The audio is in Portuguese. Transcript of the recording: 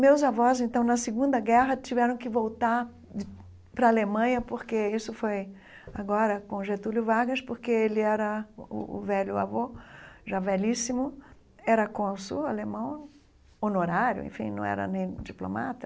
Meus avós, então na Segunda Guerra, tiveram que voltar de para a Alemanha, porque isso foi agora com Getúlio Vargas, porque ele era o o velho avô, já velhíssimo, era consul alemão, honorário, enfim não era nem diplomata.